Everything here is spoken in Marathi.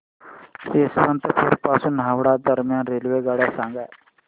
यशवंतपुर पासून हावडा दरम्यान रेल्वेगाड्या सांगा